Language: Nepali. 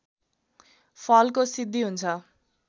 फलको सिद्धि हुन्छ